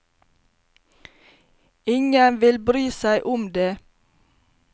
Ingen vil bry seg om det.